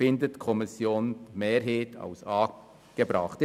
Die Kommissionsmehrheit hält dies für angebracht.